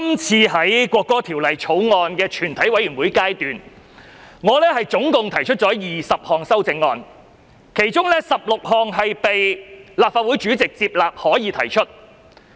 就《國歌條例草案》，我總共提出了20項全體委員會審議階段修正案，其中16項被立法會主席裁定為可以提出。